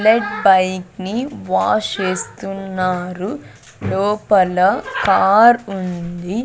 Bullet bike ని wash చేస్తున్నారు లోపల కార్ ఉంది.